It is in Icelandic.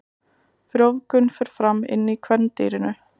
Frjóvgun fer fram inni í kvendýrinu.